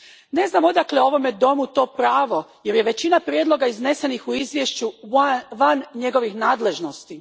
Ne znam odakle ovom domu to pravo jer je većina prijedloga iznesenih u izvješću van njegovih nadležnosti.